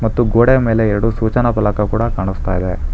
ಮತ್ತು ಗೋಡೆಯ ಮೇಲೆ ಎರಡು ಸೂಚನಪಾಲಕ ಕೂಡ ಕಾಣಿಸ್ತಾ ಇದೆ.